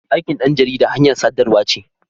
Aikin ɗan jarida hanyar sadarwa ce.